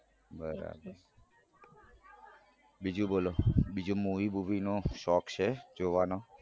બરાબર બીજું બોલો બીજું movie બુવિ નો શોખ છે જોવાનો